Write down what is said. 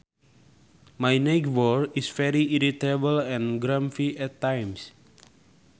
My neighbour is very irritable and grumpy at times